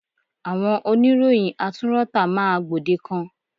Àwọn oníròyìn atúnrọ́tà máa gbòdekan.